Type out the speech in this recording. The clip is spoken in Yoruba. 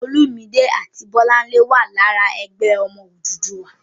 Olúmidé àti Bọ́láńlé wà lára "Ẹgbẹ́ Ọmọ Odùduwà."